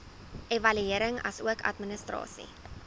evaluering asook administrasie